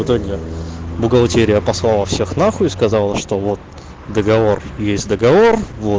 бухгалтерия послала всех на хуй сказала что вот договор есть договор вот